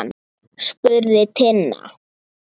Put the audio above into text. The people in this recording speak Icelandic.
spurði Tinna.